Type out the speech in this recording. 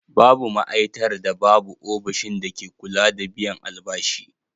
Babu ma'aitar da babu ofishin dake kula da biyan albashi.